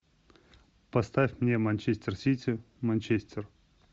поставь мне манчестер сити манчестер